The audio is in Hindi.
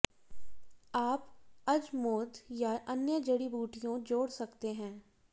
आप अजमोद या अन्य जड़ी बूटियों जोड़ सकते हैं